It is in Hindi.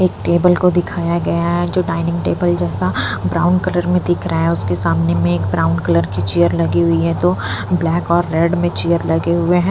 एक टेबल को दिखाया गया है जो डाइनिंग टेबल जैसा ब्राउन कलर में दिख रहा है उसके सामने में एक ब्राउन कलर की चेयर लगी हुई है दो ब्लैक और रेड में चेयर लगे हुए हैं।